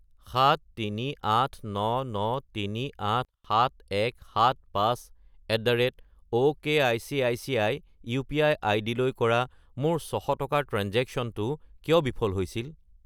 73899,387175@okicici UPI. আইডিলৈ কৰা মোৰ 600 টকাৰ ট্ৰেঞ্জেক্শ্য়নটো কিয় বিফল হৈছিল?